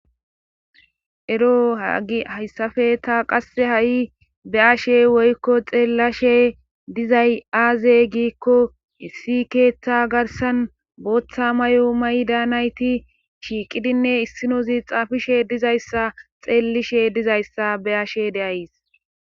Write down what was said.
ero haagi hayssafe ta qasse ha7i be ashe woykko xeellashe dizay aaze giikko issi keeththa garsan booththa mayo may daanayti shiiqidinne issinozi xaafishe dizayssa xeellishe dizayssa be ashe deays